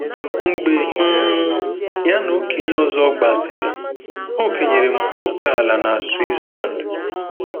Mgbe um ya na okenye ọzọ gbasịrị, o kenyere m ókèala na Switzerland.